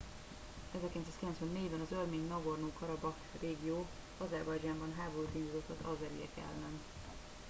1994 ben az örmény nagorno karabakh régió azerbajdzsánban háborút indított az azeriek ellen